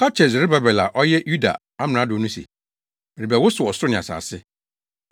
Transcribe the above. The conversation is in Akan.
“Ka kyerɛ Serubabel a ɔyɛ Yuda amrado no se, merebɛwosow ɔsoro ne asase.